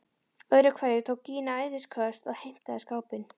Öðru hverju tók Gína æðisköst og heimtaði skápinn.